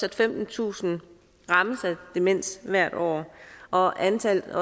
at femtentusind rammes af demens hvert år og at antallet